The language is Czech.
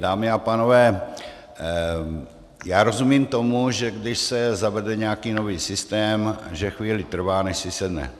Dámy a pánové, já rozumím tomu, že když se zavede nějaký nový systém, že chvíli trvá, než si sedne.